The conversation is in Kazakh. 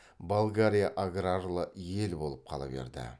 болгария аграрлы ел болып қала берді